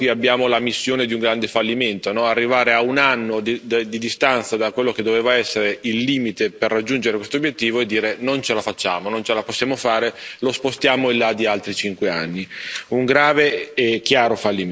Proprio sull'MSY qui abbiamo l'ammissione di un grande fallimento arrivare a un anno di distanza da quello che doveva essere il limite per raggiungere questo obiettivo e dire che non ce lo facciamo, non ce la possiamo fare e lo spostiamo in là di altri cinque anni.